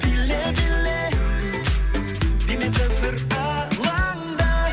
биле биле дене қыздыр алаңды